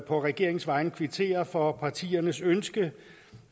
på regeringens vegne kvittere for partiernes ønske